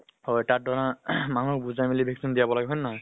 হয় । তাত ধৰা মানুহক বুজাই মেলি vaccine দিয়াব লাগে, হয় নহয় ?